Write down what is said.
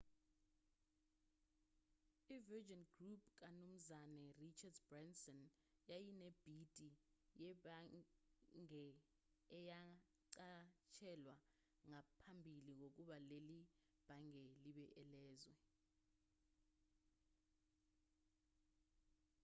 i-virgin group kamnumzane richard branson yayinebhidi yebhange eyanqatshelwa ngaphambili kokuba leli bhange libe elezwe